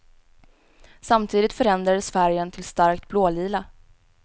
Samtidigt förändrades färgen till starkt blålila.